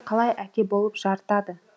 қалай әке болып жарытады